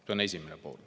See on esimene pool.